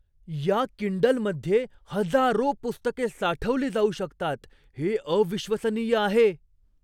या किंडलमध्ये हजारो पुस्तके साठवली जाऊ शकतात. हे अविश्वसनीय आहे!